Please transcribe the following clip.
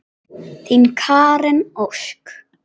Þín, Karen Ósk.